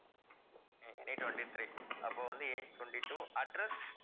உம் twenty-three அப்போ வந்து age twenty-two, address